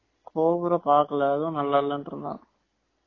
cobra பாக்களா அதும் நல்லா இல்லைன்டு இருந்தான்